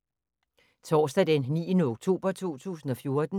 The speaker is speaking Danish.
Torsdag d. 9. oktober 2014